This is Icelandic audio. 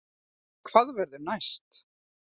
Hvað verður næst